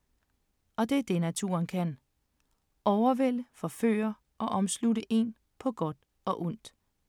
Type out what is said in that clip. Og det er det, naturen kan. Overvælde, forføre og omslutte en på godt og ondt.